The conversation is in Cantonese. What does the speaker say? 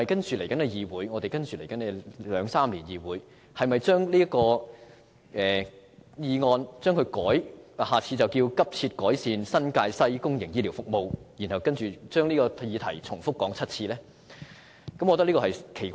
此外，在未來兩三年，議會是否要把此議案題目改為"急切改善新界西公營醫療服務"，然後重複討論這項議案7次呢？